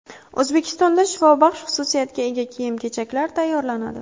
O‘zbekistonda shifobaxsh xususiyatga ega kiyim-kechaklar tayyorlanadi.